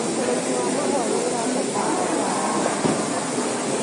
ũrĩmi wa mahũa nĩũrabatara ũtaramu mũnene